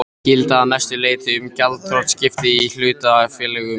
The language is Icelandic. gilda að mestu leyti um gjaldþrotaskipti í hlutafélögum.